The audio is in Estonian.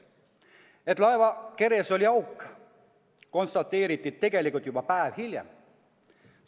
Seda, et laeva keres oli auk, konstateeriti tegelikult juba päev pärast katastroofi.